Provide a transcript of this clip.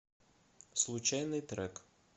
случайный трек